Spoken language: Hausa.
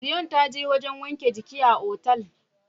Zion ta je wajen wanke giki a otel.